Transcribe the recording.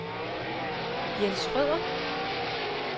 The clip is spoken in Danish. Jens Schrøder